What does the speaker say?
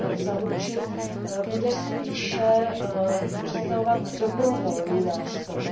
zaručit, bude spíše představovat dobrovolný nástroj.